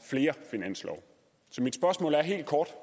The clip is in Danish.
flere finanslove så mit spørgsmål er helt kort